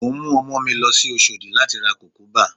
Mò ń mú ọmọ mi lọ sí Oṣòdì láti ra Kùkúbà